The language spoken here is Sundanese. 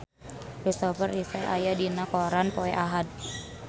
Kristopher Reeve aya dina koran poe Ahad